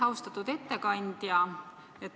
Austatud ettekandja!